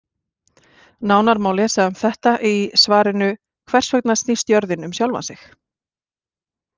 Nánar má lesa um þetta í svarinu Hvers vegna snýst jörðin um sjálfa sig?